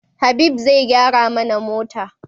Habib zai gyara mana mota